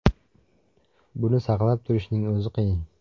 Buni saqlab turishning o‘zi qiyin.